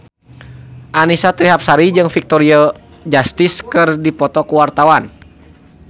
Annisa Trihapsari jeung Victoria Justice keur dipoto ku wartawan